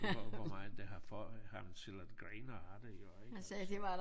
Hvor hvor meget det har fået ham til at grine af det jo ik og så